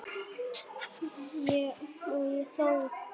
Og þó?